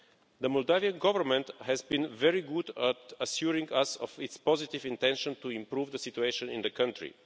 The Moldovan Government has been very good at assuring us of its positive intention to improve the situation in the country.